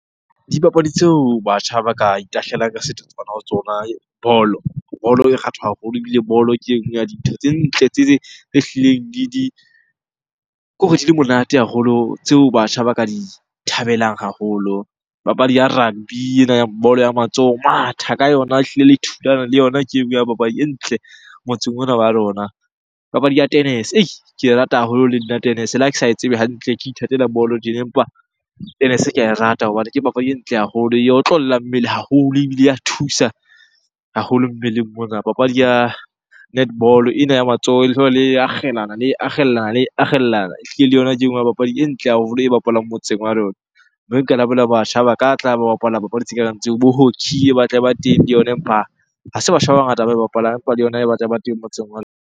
Dipapadi tseo batjha ba ka itahlela ka setotswana ho tsona bolo. Bolo e haholo ebile bolo ke e nngwe ya dintho tse ntle tse hlileng le di, kore di le monate haholo tseo batjha ba ka di thabelang haholo. Papadi ya rugby, ena ya bolo ya matsoho, ho matha ka yona ehlile le yona ke e nngwe ya papadi e ntle motseng ona wa rona. Papadi ya tennis-e ke e rata haholo le nna tennis-e le ha ke sa e tsebe hantle. Ke ithatela bolo tjena, empa tennis-e ka e rata hobane ke papadi e ntle haholo, e otlolla mmele haholo ebile e ya thusa haholo mmeleng mona. Papadi ya netball-o, ena ya matsoho le akgellana, le akgellana, le akgellana Ehlile le yona ke e nngwe ya papadi e ntle haholo e bapalwang motseng wa rona. Mme nka batjha ba ka tla ba bapala papadi tse kareng tseo. Bo hockey e batla e ba teng le yona empa ha se batjha ba bangata ba e bapalang, empa le yona e batla e ba teng motseng wa rona.